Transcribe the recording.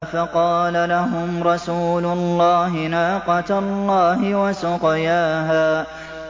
فَقَالَ لَهُمْ رَسُولُ اللَّهِ نَاقَةَ اللَّهِ وَسُقْيَاهَا